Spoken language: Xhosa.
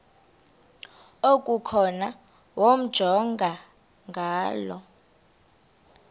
okukhona wamjongay ngaloo